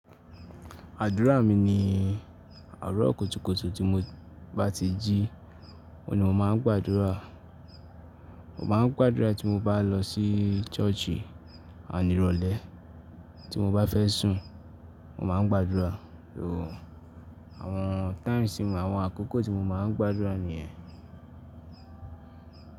Àdúrà mi ni àárọ̀ kùtùkùtù tí mo bá ti jí, òun ní mo máa ń gbàdúrà. Mo máa ń gbàdúrà tí mo bá lọ sí ṣọ́ọ̀ṣì ani ìrọ̀lẹ́, tí mo bá fẹ́ sùn mo máa ń gbàdúrà. Oo, àwọn times, àwọn àkókò tí mo máa ń gbàdúrà nìyẹn.